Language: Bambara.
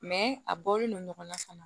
a bɔlen don ɲɔgɔnna fana